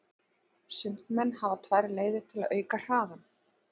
Sundmenn hafa tvær leiðir til að auka hraðann.